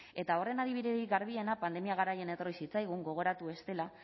eta horren adibiderik garbiena pandemia garaian etorri zitzaigun gogoratu bestela